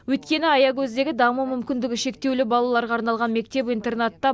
өйткені аягөздегі даму мүмкіндігі шектеулі балаларға арналған мектеп интернатта